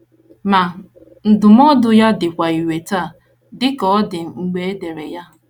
Ma, ndụmọdụ ya dịkwa irè taa dị ka ọ dị mgbe e dere ya.